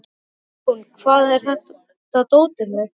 Jón, hvar er dótið mitt?